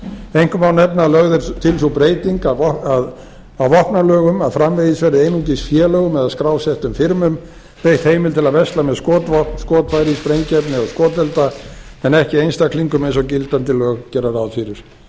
einkum má nefna að lögð er til sú breyting á vopnalögum að framvegis verði einungis félögum eða skrásettum firmum veitt heimild til að versla með skotvopn skotfæri sprengiefni og skotelda en ekki einstaklingum eins og gildandi lög gera ráð fyrir með